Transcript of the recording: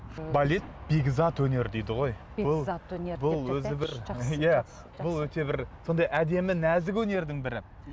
балет бекзат өнер дейді ғой бұл өзі бір иә бұл өте бір сондай әдемі нәзік өнердің бірі